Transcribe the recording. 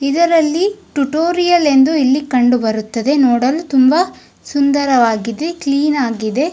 ಇದರಲ್ಲಿ ಟುಟೋರಿಯಲ್ ಎಂದು ಇಲ್ಲಿ ಕಂಡು ಬರುತ್ತದೆ ನೋಡಲು ತುಂಬಾ ಸುಂದರವಾಗಿದೆ. ಕ್ಲೀನ್ ಆಗಿದೆ.